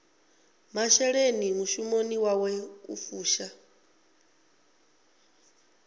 masheleni mushumoni wawe u fusha